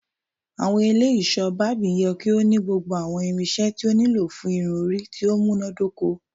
Awọn ile iṣọ Barbing yẹ ki o ni gbogbo awọn irinṣẹ ti o nilo fun irun-ori ti o munadoko